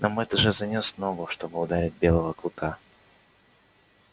но мэтт уже занёс ногу чтобы ударить белого клыка